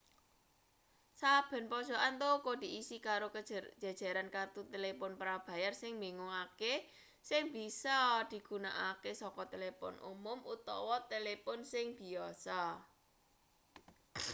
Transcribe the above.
saben pojokan toko diisi karo jejeran kertu telepon prabayar sing mbingungake sing bisa digunakake saka telepon umum utawa telepon sing biyasa